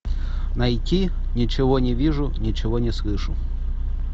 найти ничего не вижу ничего не слышу